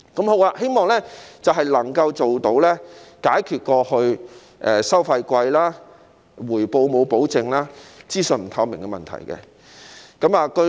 我希望能夠解決過去收費貴、回報沒有保證、資訊不透明的問題。